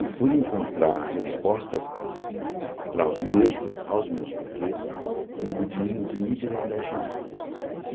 E fui encontrar respostas para os meus aos meus porquês no budismo de Nijiren Daishonin.